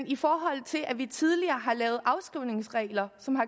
i forhold til at vi tidligere har lavet afskrivningsregler som har